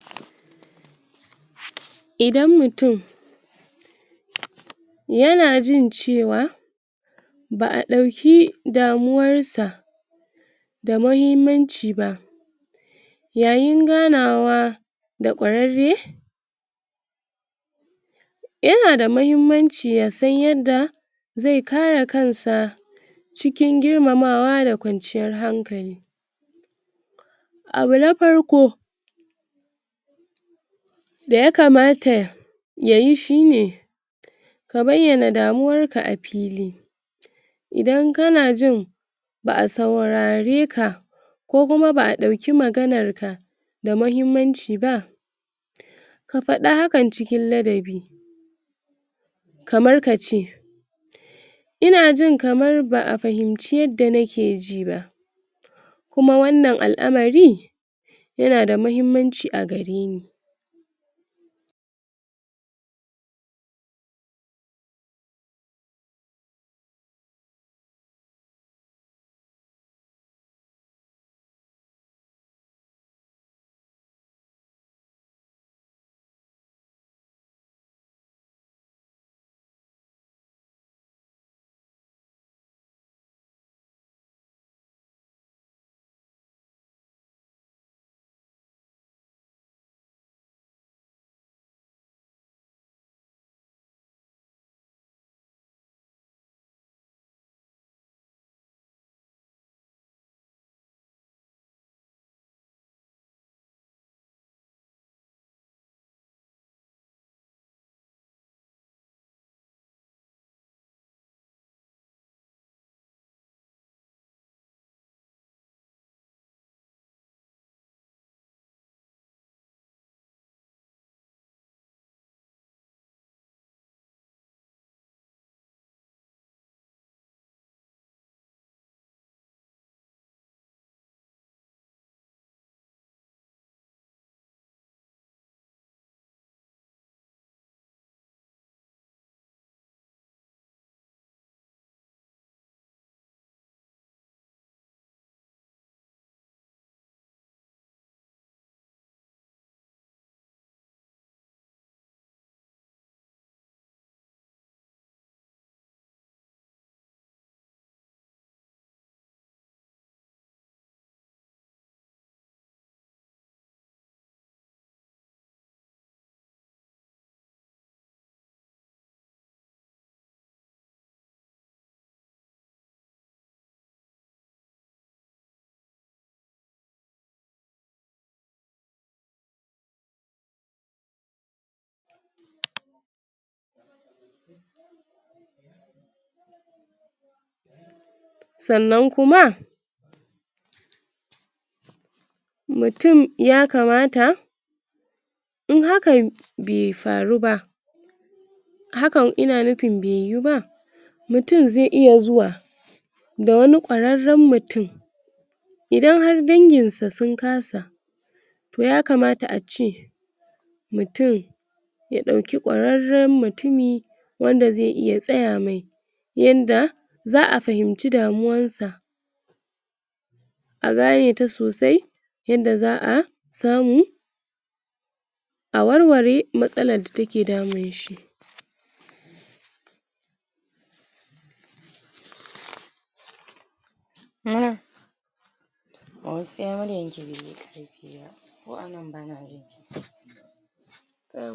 Idan mutum yana jin cewa ba'a ɗauki damuwar sa da mahimmanci ba yayin ganawa da ƙwarare yana da muhimmanci yasan yadda ze kare kansa cikin girmamawa da kwanciyan hankali abu na farko daya kamata yayi shine ka bayana damuwarka a fili idan kana jin ba'a saurareka ko kuma ba'a ɗauki maganar ka da mahimmanci ba ka faɗa hakan cikin ladabi kamar kace ina ji kamar ba'a fahimce yadda nake ji ba kuma wannan al'amari yana da mahimmanci a gare ni sannan kuma mutum ya kamata in hakan be faru ba hakan ina nufin be yu ba mutum ze iya zuwa da wani ƙwaraen mutum idan har daginsu sun kasa toh ya kamata a ce mutum ya dauki ƙwararen mutumi wanda zai iya tsaya mai yanda za'a fahimci damuwar sa a gane ta sosai yadda za'a samu a warware matsalar da take damun shi